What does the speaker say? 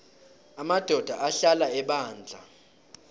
amadoda ahlala ebandla